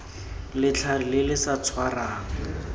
letlhare le le sa tshwarang